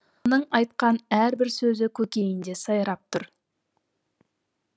оның айтқан әрбір сөзі көкейінде сайрап тұр